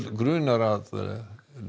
grunar að